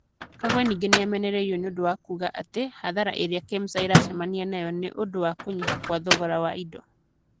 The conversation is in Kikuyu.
Kagwe ningĩ nĩ amenereirwo nĩ ũndũ wa kuuga atĩ hathara ĩrĩa Kemsa ĩracemania nayo nĩ ũndũ wa kunyiha kwa thogora wa indo.